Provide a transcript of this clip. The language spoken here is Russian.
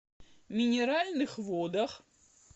минеральных водах